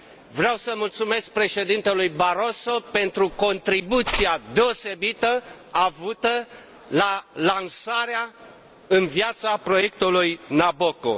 Vreau să mulțumesc președintelui Barroso pentru contribuția deosebită avută la lansarea în viață a proiectului Nabucco.